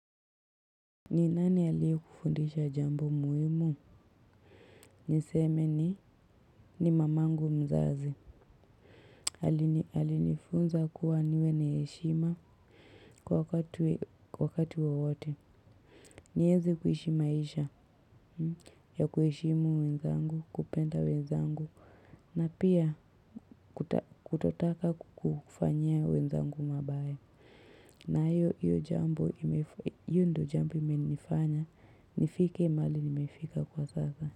Ni nani aliyekufundisha jambo muhimu? Niseme ni mamangu mzazi. Alinifunza kuwa niwe na heshima kwa wakati wowote. Niweze kuishi maisha ya kuheshimu wenzangu, kupenda wenzangu na pia kutotaka kufanyia wenzangu mabaya. Na hiyo ndio jambo imenifanya nifike mahali nimefika kwa sasa.